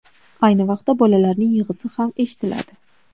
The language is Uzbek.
Ayni vaqtda, bolalarning yig‘isi ham eshitiladi.